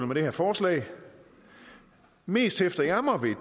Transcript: med det her forslag mest hæfter jeg mig ved